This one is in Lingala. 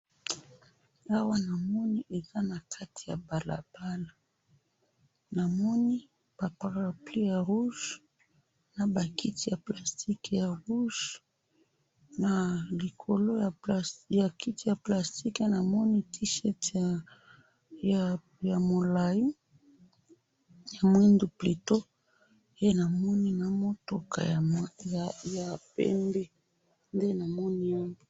Na moni na balabala mutuka ya pembe, kiti ya plastique ya rouge na likolo nango T-shirt ya moindo. .